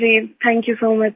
ji thank you so much